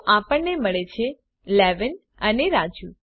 તો આપણને મળે છે 11 અને રાજુ